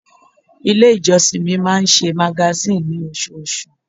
Ilé ìjọsìn mi máa ń ṣe magazine ní osoosù.